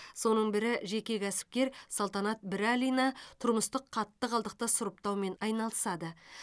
соның бірі жеке кәсіпкер салтанат бірәлина тұрмыстық қатты қалдықты сұрыптаумен айналысады